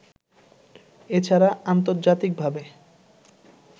এ ছাড়া আন্তর্জাতিকভাবে